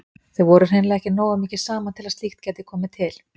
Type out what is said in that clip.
Þau voru hreinlega ekki nógu mikið saman til að slíkt gæti komið til.